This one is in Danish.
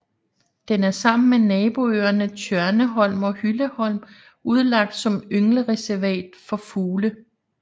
Den er sammen med naboøerne Tjørneholm og Hylleholm udlagt som ynglereservater for fugle